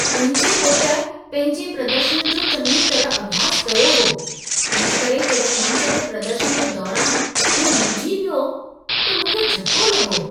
मुंहिंजे पुटु पंहिंजे प्रदर्शनु जो चङीअ तरह अभ्यास कयो हो। इन करे जॾहिं मंचु ते प्रदर्शनु जे दौरान हू मुंझी पियो, त मूंखे झटिको लॻो।